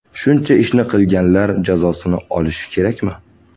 Shuncha ishni qilganlar jazosini olishi kerakmi?